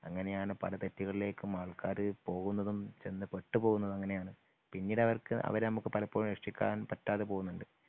അങ്ങനെയാണ് പല തെറ്റുകളിലേക്കും ആൾക്കാര് പോകുന്നതും ചെന്ന് പെട്ടുപോകുന്നതും അങ്ങനെയാണ് പിന്നീട് അവർക്കു അവരെ നമുക്ക് പലപ്പോഴും രക്ഷിക്കാൻ പറ്റാതെ പോകുന്നുണ്ട്.